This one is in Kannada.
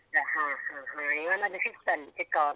ಹ ಹ ಹ ಇವನದ್ದು sixth ಅಲ್ಲಿ ಚಿಕ್ಕವ